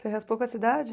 Você raspou com essa idade?